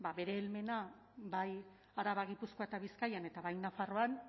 ba bere helmena bai araba gipuzkoa eta bizkaian eta bai nafarroan